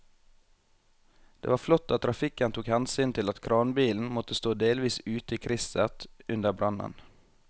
Det var flott at trafikken tok hensyn til at kranbilen måtte stå delvis ute i krysset under brannen.